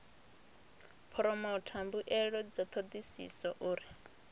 phoromotha mbuelo dza thodisiso uri